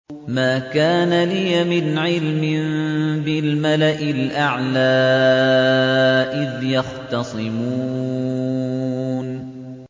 مَا كَانَ لِيَ مِنْ عِلْمٍ بِالْمَلَإِ الْأَعْلَىٰ إِذْ يَخْتَصِمُونَ